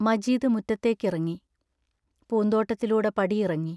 മജീദ് മുറ്റത്തേക്കിറങ്ങി, പൂന്തോട്ടത്തിലൂടെ പടിയിറങ്ങി...